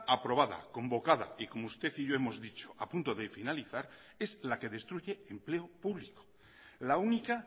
aprobada convocada y como usted y yo hemos dicho a punto de finalizar es la que destruye empleo público la única